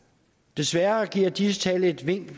desværre giver disse tal et vink